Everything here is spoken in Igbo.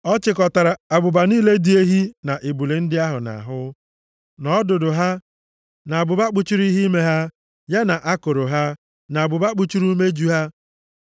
Ọ chịkọtara abụba niile dị ehi na ebule ndị ahụ nʼahụ, na ọdụdụ ha, na abụba kpuchiri ihe ime ha, ya na akụrụ ha, na abụba kpuchiri umeju ha,